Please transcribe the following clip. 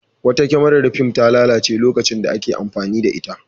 Wata kyamarar fim ta lalace lokacin da ake amfani da ita.